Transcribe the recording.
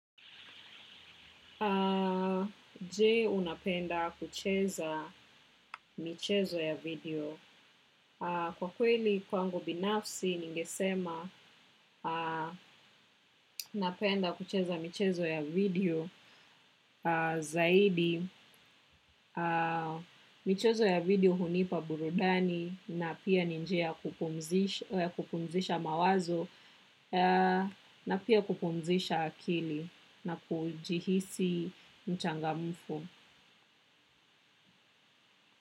Je unapenda kucheza michezo ya video. Kwa kweli kwangu binafsi ningesema napenda kucheza michezo ya video zaidi michezo ya video hunipa burudani na pia ni njia ya kupumzisha mawazo na pia kupumzisha akili na kujihisi mchangamfu.